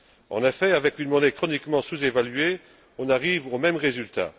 En effet, avec une monnaie chroniquement sous évaluée, on arrive au même résultat.